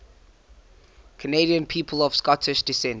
canadian people of scottish descent